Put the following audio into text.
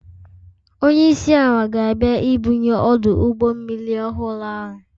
Onye isi ala ga-abịa ibunye ọdụ ụgbọ mmiri ọhụrụ ahụ